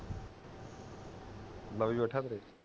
ਬੈਠੇ ਤੇਰੇ